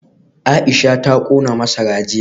Aisha ta kona masara jiya